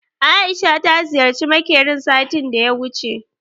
Aisha ta ziyarci makerin satin daya wuce